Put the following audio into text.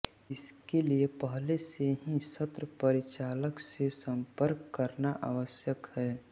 इसके लिए पहले से ही सत्र परिचालक से संपर्क करना आवश्यक है